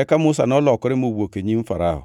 Eka Musa nolokore mowuok e nyim Farao.